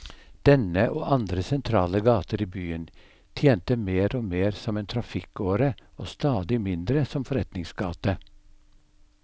Denne, og andre sentrale gater i byen, tjente mer og mer som en trafikkåre og stadig mindre som forretningsgate.